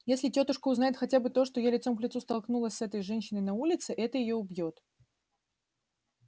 если тётушка узнает хотя бы то что я лицом к лицу столкнулась с этой женщиной на улице это её убьёт